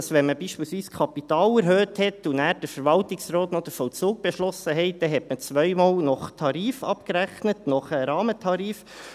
Wenn man beispielsweise das Kapital erhöhte und der Verwaltungsrat dann noch den Vollzug beschloss, rechnete man zweimal nach Tarif ab, nach Rahmentarif.